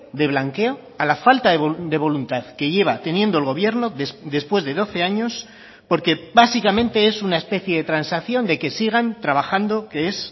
de blanqueo a la falta de voluntad que lleva teniendo el gobierno después de doce años porque básicamente es una especie de transacción de que sigan trabajando que es